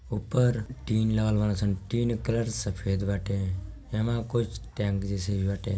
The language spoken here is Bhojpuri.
ऊपर टिन लागल बाड़न सन । टिन के कलर सफेद बाटे एमा कुछ टैंक जैसे सील बाटे।